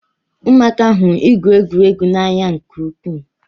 Ụmụaka hụrụ igwu egwuregwu n'anya nke ukwuu